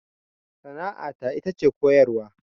Sana'a ta ita ce koyarwa